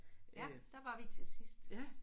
Ja der var vi til sidst